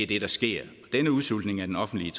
det der sker denne udsultning af den offentlige